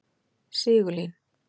Sigurlín